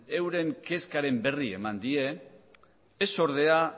euren kezkaren berri eman die ez ordea